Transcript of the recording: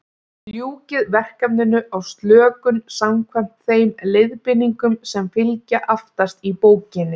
Ljúkið verkefninu á slökun, samkvæmt þeim leiðbeiningum sem fylgja aftast í bókinni.